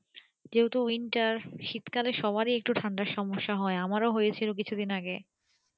যেহেতু winter শীত কালে সবার একটু ঠান্ডার সমস্যা হয় আমারও হয়েছিল কিছুদিন আগে